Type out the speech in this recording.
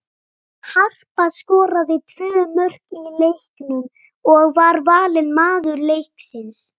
Harpa skoraði tvö mörk í leiknum og var valin maður leiksins.